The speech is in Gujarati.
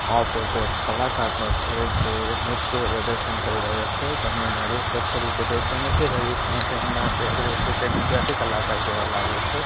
આ ફોટો એક કલાકારનો છે જે નૃત્ય પ્રદર્શન કરી રહ્યો છે જેમનુ મોઢુ સ્વરછ રીતે દેખાઈ નથી રહ્યુ પણ તેમના પહેરવેશે તે ગુજરાતી કલાકાર જેવા લાગે છે.